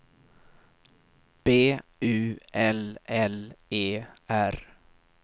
B U L L E R